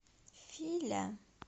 филя